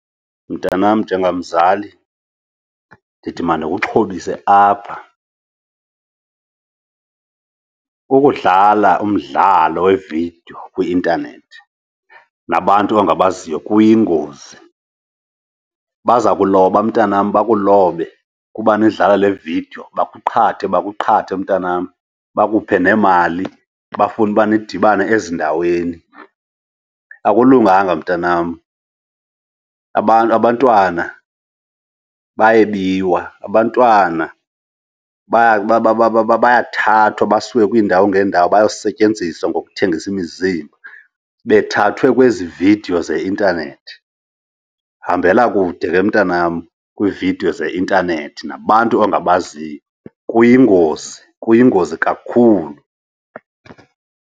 Mntanam, njengamzali ndithi mandikuxhobise apha, ukudlala umdlalo wevidiyo kwi-intanethi nabantu ongabaziyo kuyingozi. Baza kuloba mntanam, bakulobe kuba nidlala le vidiyo. Bakuqhathe, bakuqhathe mntanam. Bakuphe neemali bafune uba nidibane ezindaweni. Akulunganga mntanam, abantu, abantwana bayebiwa, abantwana bayathathwa basiwe kwiindawo ngeendawo bayosetyenziswa ngokuthengisa imizimba, bethathwe kwezi vidiyo zeintanethi. Hambela kude ke mntanam kwividiyo zeintanethi nabantu ongabaziyo kuyingozi, kuyingozi kakhulu.